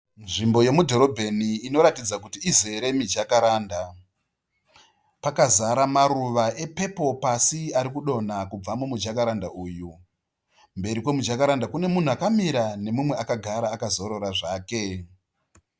Nzvimbo yemudhorobheni inoratidza kuti izere miJacaranda. Pakazara maruwa e pepuru pasi arikudonha kubva mumu Jacaranda uyu. Mberi kwemu Jacaranda Kune munhu akamira nemumwe akagara akazorora zvake.